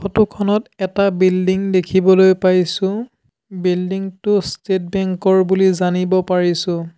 Photo খনত এটা building দেখিবলৈ পাইছোঁ বিল্ডিং টো ষ্টেট বেঙ্ক ৰ বুলি জানিব পাৰিছোঁ।